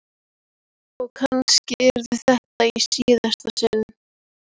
Og kannski yrði þetta í síðasta sinn.